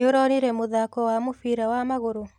Nĩũronire mũthako wa mũbira wa magũrũ?